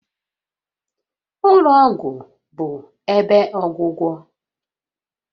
Ụlọ ọgwụ bụ ebe ọgwụgwọ